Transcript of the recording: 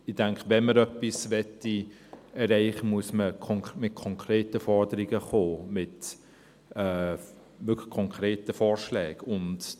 Ich denke, wenn man etwas erreichen möchte, müsste man mit konkreten Forderungen, wirklich mit konkreten Vorschlägen, kommen.